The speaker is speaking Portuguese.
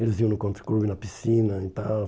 Eles iam no Country Club na piscina e tal.